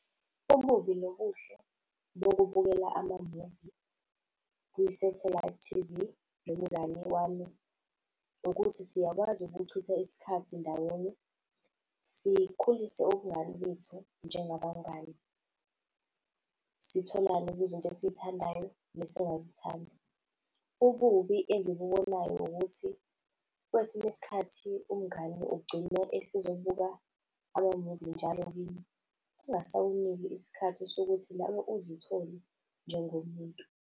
Okubi nokuhle bokubukela ama-movie kwi-satellite T_V nomngani wami ukuthi siyakwazi ukuchitha isikhathi ndawonye sikhulise ubungani bethu njengabangani, sitholane kwizinto esizithandayo nesingazithandi. Ububi engibubonayo ukuthi kwesinye isikhathi umngani ugcine esezobuka ama-movie njalo kini, engasakuniki isikhathi sokuthi nawe uzithole njengomuntu.